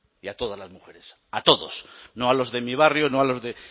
y a todas las mujeres a todos no a los de mi barrio no a los de